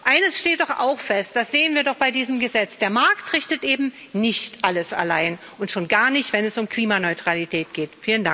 Eines steht doch auch fest, das sehen wir doch bei diesem Gesetz Der Markt richtet eben nicht alles allein, und schon gar nicht, wenn es um Klimaneutralität geht.